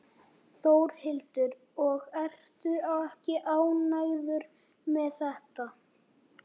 Þórhildur: Og ertu ekki ánægður með þetta?